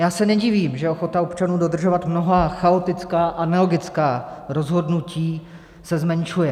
Já se nedivím, že ochota občanů dodržovat mnohá chaotická a nelogická rozhodnutí se zmenšuje.